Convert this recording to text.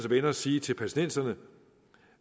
venner sige til palæstinenserne